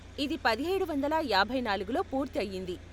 ఇది పదిహేడు వందల యాభై నాలుగులో పూర్తి అయింది.